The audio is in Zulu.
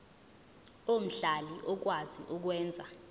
omhlali okwazi ukwenza